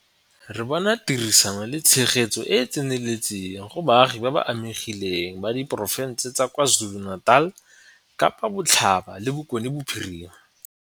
Re bone tirisano le tshegetso e e tseneletseng go baagi ba ba amegileng ba diporofense tsa KwaZuluNatal, Kapa Botlhaba le Bokone Bophirima.